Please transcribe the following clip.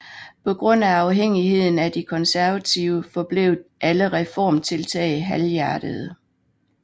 På grund af afhængigheden af de konservative forblev alle reformtiltag halvhjertede